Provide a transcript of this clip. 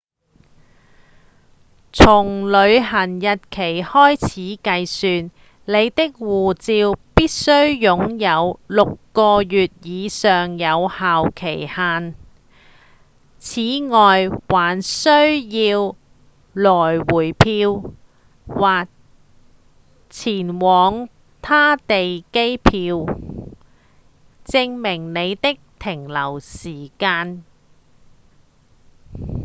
從旅行日期開始計算你的護照必須擁有6個月以上有效期限此外還需要來回票或前往他地機票證明你的停留時間